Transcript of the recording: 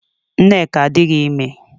Nneka adịghị ime